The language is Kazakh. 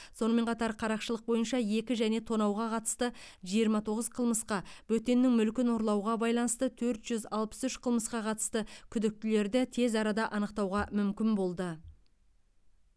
сонымен қатар қарақшылық бойынша екі және тонауға қатысты жиырма тоғыз қылмысқа бөтеннің мүлкін ұрлауға байланысты төрт жүз алпыс үш қылмысқа қатысты күдіктелерді тез арада анықтауға мүмкін болды